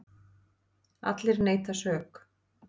Allir neita sök.